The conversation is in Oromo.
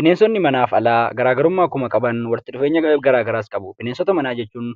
Bineensonni manaaf alaa garaagarummaa akkuma qaban walitti dhufeenyas garagaraas qabu . Bineensota manaa jechuun